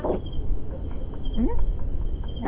ಹೂಂ. .